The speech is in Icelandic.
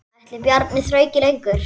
Ætli Bjarni þrauki lengur?